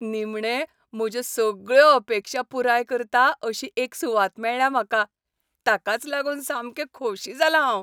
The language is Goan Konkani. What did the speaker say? निमणें, म्हज्यो सगळ्यो अपेक्षा पुराय करता अशी एक सुवात मेळ्ळ्या म्हाका. ताकाच लागून सामकें खोशी जालां हांव.